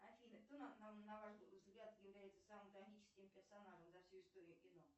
афина кто на ваш взгляд является самым трагическим персонажем за всю историю кино